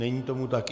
Není tomu tak.